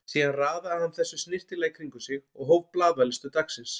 Síðan raðaði hann þessu snyrtilega í kring um sig og hóf blaðalestur dagsins.